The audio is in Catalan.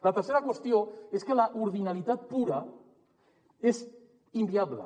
la tercera qüestió és que l’ordinalitat pura és inviable